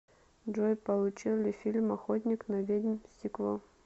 джой получил ли фильм охотник на ведьм сиквел